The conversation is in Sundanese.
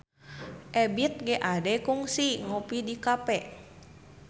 Ebith G. Ade kungsi ngopi di cafe